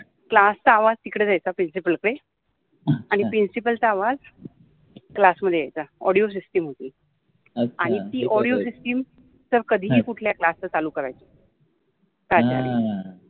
class चा आवाज तिकडे जायचा प्रिंसिपल कडे आनि प्रिंसिपल चा आवाज क्लासमधे यायचा ऑडिओ सिस्टम होति आणी ति ऑडिओ सिस्टम कधिहि कुठल्याहि क्लासचि चालु करायचे पाचार्य